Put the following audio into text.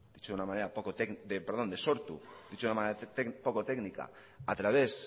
dicho de una manera poco técnica a través